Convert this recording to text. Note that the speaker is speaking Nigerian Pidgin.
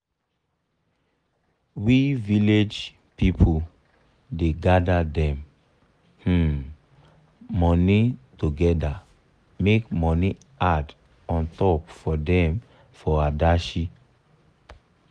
we village pipu da gather dem um money together make money add untop for them for adashi